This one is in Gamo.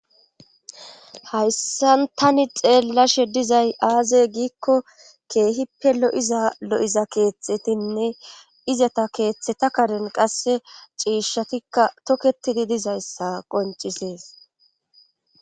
hayssan tani xeellashe dizay aaze giikko keehi pelo7iza lo7iza keeththetinne izata keeththeta karen qasse ciishshatikka tokketidi dizayssa qoncisees